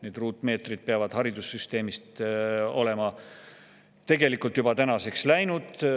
Need ruutmeetrid peaksid olema haridussüsteemist tänaseks tegelikult juba läinud.